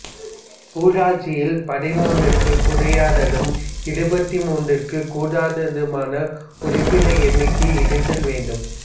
ஊராட்சியில் பதிமூன்றிற்கு குறையாததும் இருபத்திமூன்றிற்கு கூடாததுமான உறுப்பினர் எண்ணிக்கை இருந்தல் வேண்டும்